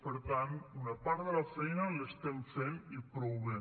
per tant una part de la feina l’estem fent i prou bé